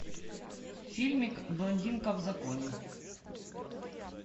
фильмик блондинка в законе